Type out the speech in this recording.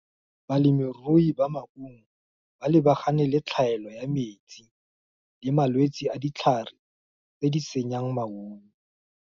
Balemirui ba maungo, ba lebagane le tlhaelo ya metsi, le malwetsi a ditlhare, tse di senyang maungo.